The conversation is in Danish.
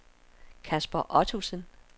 Kasper Ottosen